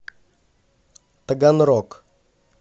таганрог